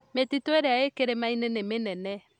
Mĩtitũĩrĩa ĩ kĩrĩmainĩ nĩ nene